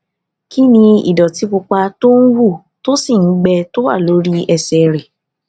kí ni ìdòtí pupa tó ń hù tó sì ń gbẹ tó wà lórí ẹsè rẹ